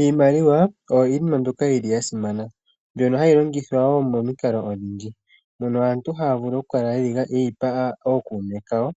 Iimaliwa oyo iinima mbyoka yili ya simana mbyono hayi longithwa woo momikalo odhindji mono aantu haya vulu oku kala ye yi pa ookuume kawo